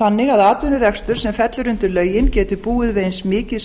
þannig að atvinnurekstur sem fellur undir lögin geti búið við eins mikið